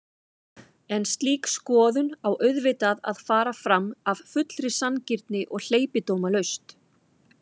En slík skoðun á auðvitað að fara fram af fullri sanngirni og hleypidómalaust.